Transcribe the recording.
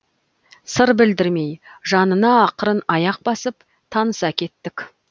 сыр білдірмей жанына ақырын аяқ басып таныса кеттік